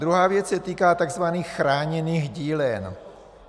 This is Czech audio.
Druhá věc se týká tzv. chráněných dílen.